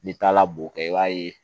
N'i taara boo kɛ i b'a ye